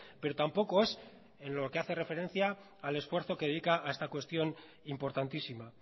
pero tampoco es en lo que hace referencia al esfuerzo que dedica a esta cuestión importantísima